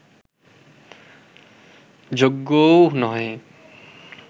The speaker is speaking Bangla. যোগ্যও নহে